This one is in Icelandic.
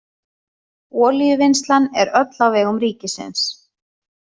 Olíuvinnslan er öll á vegum ríkisins.